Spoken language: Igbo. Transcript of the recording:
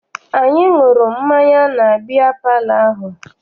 Anyị ṅụrụ mmanya na biya palọ ahụ.